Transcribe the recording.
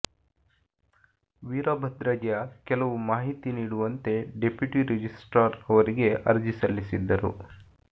ವೀರಭದ್ರಯ್ಯ ಕೆಲವು ಮಾಹಿತಿ ನೀಡುವಂತೆ ಡೆಪ್ಯುಟಿ ರಿಜಿಸ್ಟ್ರಾರ್ ಅವರಿಗೆ ಅರ್ಜಿ ಸಲ್ಲಿಸಿದ್ದರು